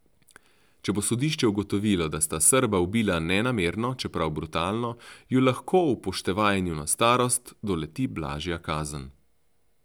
Če bo sodišče ugotovilo, da sta Srba ubila nenamerno, čeprav brutalno, ju lahko, upoštevaje njuno starost, doleti blažja kazen.